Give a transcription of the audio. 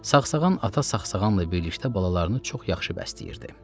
Saxsağan ata saxsağanla birlikdə balalarını çox yaxşı bəsləyirdi.